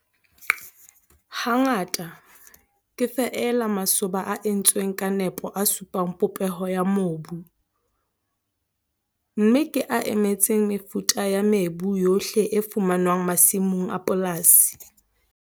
Hangata ke feela masoba a entsweng ka nepo a supang popeho ya mobu, mme ke a emetseng mefuta ya mebu yohle e fumanwang masimong a polasi.